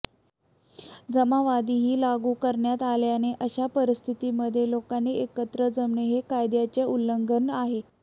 जमावबंदीही लागू करण्यात आल्याने अशा परिस्थितीमध्ये लोकांनी एकत्र जमणं हे कायद्याचे उल्लंघन आहे